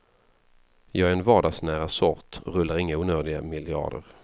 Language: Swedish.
Jag är en vardagsnära sort och rullar inga onödiga miljarder.